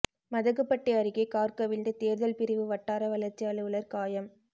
மதகுபட்டி அருகே காா் கவிழ்ந்து தோ்தல் பிரிவு வட்டார வளா்ச்சி அலுவலா் காயம்